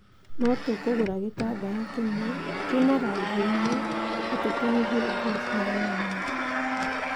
No tũkũgũra gĩtambaya kĩmwe, kina rangi umwe na tũtumithie nguo cihanaine.